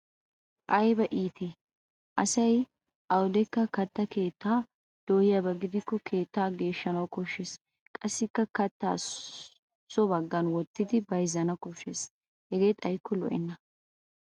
Ayba iitii ! Asay awudekka katta keettaa dooyiyaba gidikko keettaa geeshshanwu koshshes qassikka katta so baggan wottidi bayzzana koshshes. Hegee xayikko lo'enna.